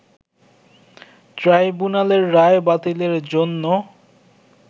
ট্রাইব্যুনালের রায় বাতিলের জন্য